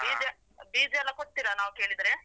ಬೀಜ ಬೀಜ ಎಲ್ಲ ಕೊಡ್ತಿರಾ ನಾವ್ ಕೇಳಿದ್ರೆ?